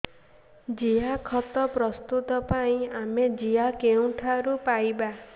ଜିଆଖତ ପ୍ରସ୍ତୁତ ପାଇଁ ଆମେ ଜିଆ କେଉଁଠାରୁ ପାଈବା